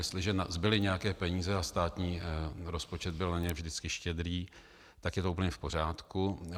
Jestliže zbyly nějaké peníze, a státní rozpočet byl na ně vždycky štědrý, tak je to úplně v pořádku.